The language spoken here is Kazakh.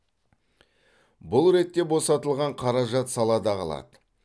бұл ретте босатылған қаражат салада қалады